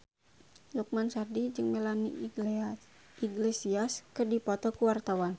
Lukman Sardi jeung Melanie Iglesias keur dipoto ku wartawan